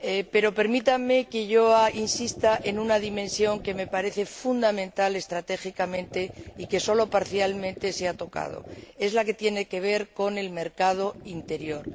Pero permítanme que insista en una dimensión que me parece fundamental estratégicamente y que sólo se ha tocado parcialmente es la que tiene que ver con el mercado interior.